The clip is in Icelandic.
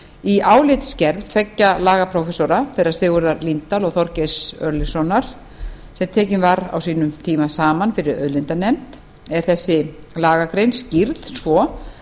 í álitsgerð tveggja lagaprófessora þeirra sigurðar líndal og þorgeirs örlygssonar sem tekin var á sínum tíma saman fyrir auðlindanefnd er þessi lagagrein skýrð svo